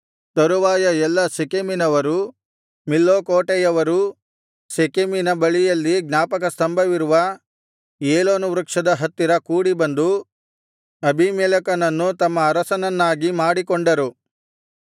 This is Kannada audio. ತರುವಾಯ ಎಲ್ಲಾ ಶೆಕೆಮಿನವರೂ ಮಿಲ್ಲೋ ಕೋಟೆಯವರೂ ಶೆಕೆಮಿನ ಬಳಿಯಲ್ಲಿ ಜ್ಞಾಪಕಸ್ತಂಭವಿರುವ ಏಲೋನ್ ವೃಕ್ಷದ ಹತ್ತಿರ ಕೂಡಿಬಂದು ಅಬೀಮೆಲೆಕನನ್ನು ತಮ್ಮ ಅರಸನನ್ನಾಗಿ ಮಾಡಿಕೊಂಡರು